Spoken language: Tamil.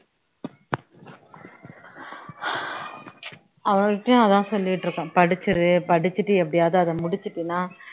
அவள் கிட்டேயும் அதான் சொல்லிட்டு இருக்கோம், படிச்சுரு படிச்சுட்டு அதை எப்படியாவது முடிச்சுட்டீன்னா